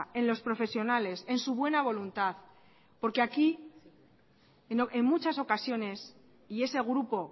en los profesionales en su buena voluntad porque aquí en muchas ocasiones y ese grupo